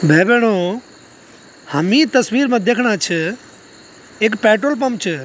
भाई-भेणाे हम ई तस्वीर मा दिखणा छ एक पेट्रोल पंप च।